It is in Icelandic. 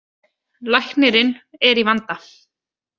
Læknirinn er í vanda.